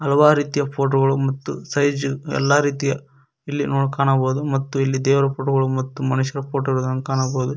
ಹಲವಾರು ರೀತಿಯ ಫೋಟೋ ಗಳು ಮತ್ತು ಸೈಜು ಎಲ್ಲಾ ರೀತಿಯ ಇಲ್ಲಿ ನೋಡ್ ಕಾಣಬಹುದು ಮತ್ತು ಇಲ್ಲಿ ದೇವರ ಫೋಟೋ ಗಳು ಮತ್ತು ಮನುಷ್ಯರ ಫೋಟೋ ಗಳನ್ನು ಕಾಣಬೋದು.